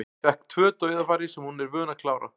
Fékk tvö dauðafæri sem hún er vön að klára.